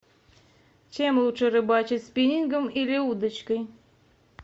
чем лучше рыбачить спиннингом или удочкой